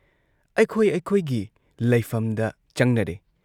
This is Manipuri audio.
ꯑꯩꯈꯣꯏ ꯑꯩꯈꯣꯏꯒꯤ ꯂꯩꯐꯝꯗ ꯆꯪꯅꯔꯦ ꯫